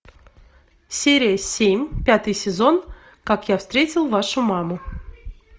серия семь пятый сезон как я встретил вашу маму